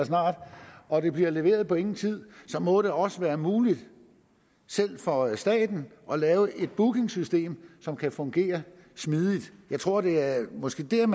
og det bliver leveret på ingen tid så må det også være muligt selv for staten at lave et bookingsystem som kan fungere smidigt jeg tror at det måske er